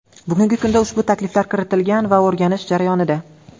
Bugungi kunda ushbu takliflar kiritilgan va o‘rganish jarayonida.